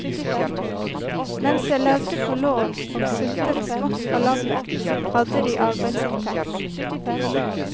Mens jeg levde på lån, og suttet smått på labben, hadde de arbeidsinntekt.